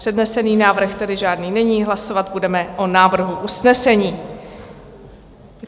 Přednesený návrh tedy žádný není, hlasovat budeme o návrhu usnesení.